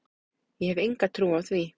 Ég hef enga trú á því,